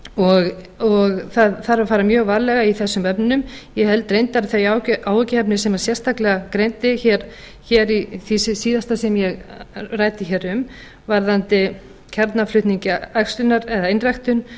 og það þarf að fara mjög varlega í þessum efnum ég held reyndar að þau áhyggjuefni sem hann sérstaklega greindi hér í því síðasta sem ég ræddi hér um varðandi kjarnaflutning æxlunar eða einræktun